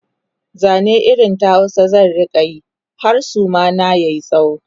Zane irin ta Hausa zan rinka Yi har Suma na yayi tsawo